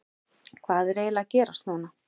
Hvað er eiginlega að gerast núna?